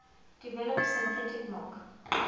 develop synthetic milk